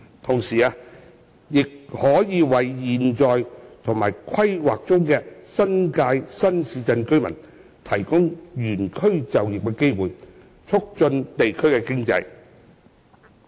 同時，亦可為現有及規劃中的新界新市鎮居民提供原區就業的機會，促進地區經濟。